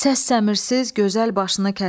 Səs-səmirsiz gözəl başını kəsin.